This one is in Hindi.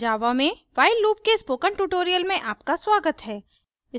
java में while loop के spoken tutorial में आपका स्वागत है